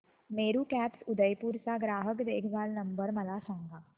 Meru cabs Udaipur चा ग्राहक देखभाल नंबर मला सांगा